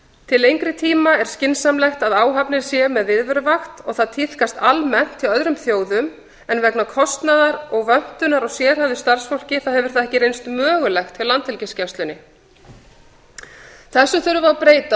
til lengri tíma er skynsamlegt að áhafnir séu með viðveruvakt og það tíðkast almennt hjá öðrum þjóðum en vegna kostnaðar og vöntunar á sérhæfðu starfsfólki þá hefur það ekki reynst mögulegt hjá landhelgisgæslunni þessu þurfum við að breyta og þessu